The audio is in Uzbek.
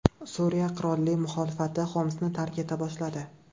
Suriya qurolli muxolifati Xomsni tark eta boshladi.